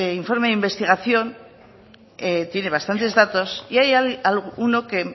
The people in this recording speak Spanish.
informe de investigación tiene bastantes datos y hay alguno que